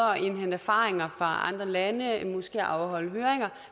indhente erfaringer fra andre lande måske afholde høringer